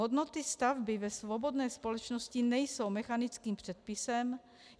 Hodnoty stavby ve svobodné společnosti nejsou mechanickým předpisem.